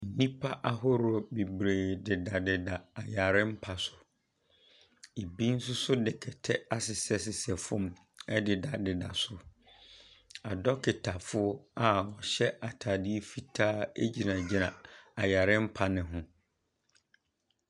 Nnipa ahoroɔ bebree dedadeda ayare mpa so. Ebi nso de kɛtɛ asesɛ fam dedadeda so. Adɔketafoɔ a wɔhyɛ ataadeɛ fitaa gyingyina ayare mpa o ho.